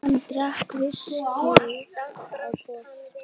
Hann drakk viskíið í botn.